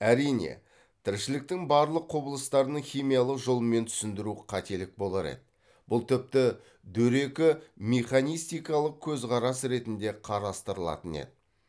әрине тіршіліктің барлық құбылыстарын химиялық жолмен түсіндіру қателік болар еді бұл тіпті дөрекі механистикалық көзқарас ретінде қарастырылатын еді